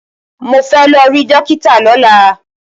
Mo fẹ́ lọ rí dọ́kítà lọ́la.